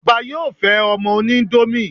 Ọbá yóò fẹ́ ọmọ oníńdómì